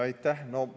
Aitäh!